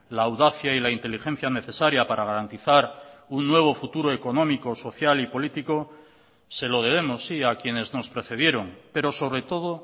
la audacia y la inteligencia necesaria para garantizar un nuevo futuro económico social y político se lo debemos sí a quienes nos precedieron pero sobre todo